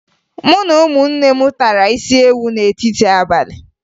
Mụ na ụmụnne m tara isiewu n'etiti abalị